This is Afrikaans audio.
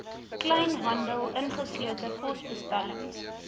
kleinhandel ingeslote posbestellings